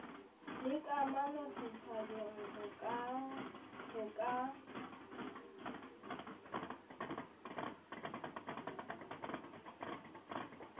le kamano setjhabeng ho ka